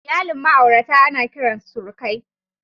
Iyalin ma'aurata ana kiran su surukai.